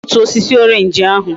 I ga egbutu osisi orange ahu!